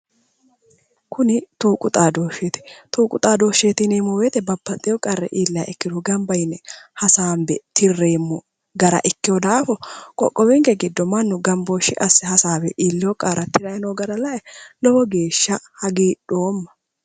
Kuni tuuqu xaadoshsheeti tuuqu xadoshsheeti yineemo woyite babbaxxewo qarri iilliha ikkiro ganba yine hasaanbe tirreemo gara ikkewo daafo qoqqowinke giddo mannu ganbooshshe asse hasaawe illewo qarra tirayi no gara la'e lowo geeshsha hagidhooma